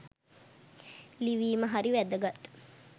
ලිවීම හරි වැදගත්